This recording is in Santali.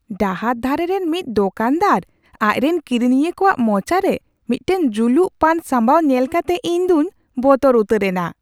ᱰᱟᱦᱟᱨ ᱫᱷᱟᱨᱮ ᱨᱮᱱ ᱢᱤᱫ ᱫᱚᱠᱟᱱ ᱫᱟᱨ ᱟᱡ ᱨᱮᱱ ᱠᱤᱨᱤᱧᱤᱭᱟᱹ ᱠᱚᱣᱟᱜ ᱢᱚᱪᱟ ᱨᱮ ᱢᱤᱫᱴᱟᱝ ᱡᱩᱞᱩᱜ ᱯᱟᱱ ᱥᱟᱢᱵᱟᱣ ᱧᱮᱞ ᱠᱟᱛᱮ ᱤᱧ ᱫᱩᱧ ᱵᱚᱛᱚᱨ ᱩᱛᱟᱹᱨ ᱮᱱᱟ ᱾